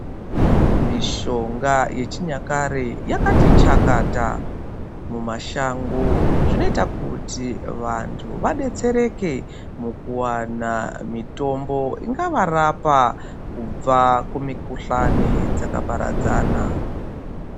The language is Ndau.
Mishonga yechinyakare yakati chakata mumashango. Zvinoita kuti vantu vabetsereke mukuwana mitombo ingavarapa kubva kumikuhlane dzakaparadzana.